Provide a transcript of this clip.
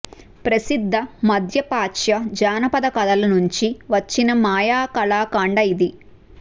ప్రసిద్ధ మధ్య ప్రాచ్య జానపద కథల నుంచి వచ్చిన మాయా కళా ఖండం ఇది